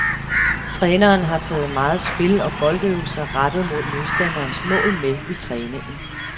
Træneren har taget meget spil og boldøvelser rettet mod modstanderens mål med i træningen.